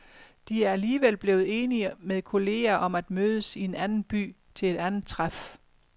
De er alligevel blevet enige med kolleger om at mødes i en anden by til et andet træf.